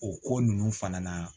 O ko ninnu fana na